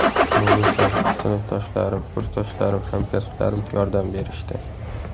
Munisa: Sinfdoshlarim, kursdoshlarim, hamkasblarim yordam berishdi.